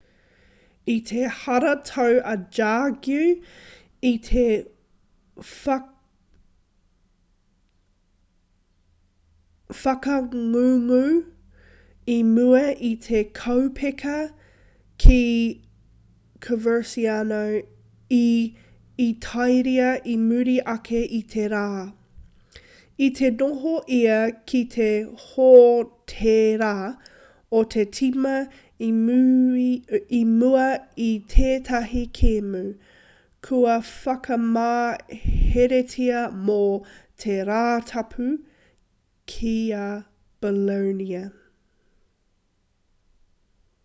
i te haratau a jargue i te whakangungu i mua i te kaupeka ki coverciano i itāria i muri ake i te rā i te noho ia ki te hōtēra o te tīma i mua i tētahi kēmu kua whakamaheretia mō te rātapu ki a bolonia